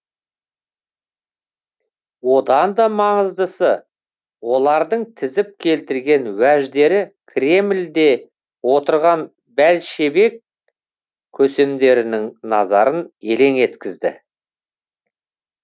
одан да маңыздысы олардың тізіп келтірген уәждері кремльде отырған бәлшебек көсемдерінің назарын елең еткізген